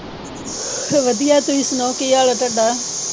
ਵਧੀਆ। ਤੁਸੀ ਸੁਣਾਓ ਕੀ ਹਾਲ ਆ ਤੁਹਾਡਾ?